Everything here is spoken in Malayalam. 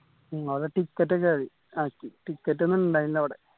ഉം അവിടെ ticket ഒക്കെ ആയി ആക്കി ticket ഒന്ന് ഇണ്ടായിരുന്നില്ല അവിടെ